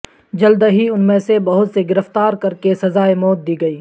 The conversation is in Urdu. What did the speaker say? جلد ہی ان میں سے بہت سے گرفتار کر کے سزائے موت دی گئی